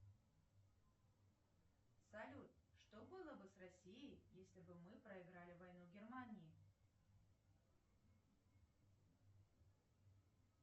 сбер какая валюта в ходу в бангладеше